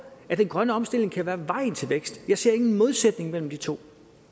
at den grønne omstilling kan være vejen til vækst jeg ser ingen modsætning mellem de to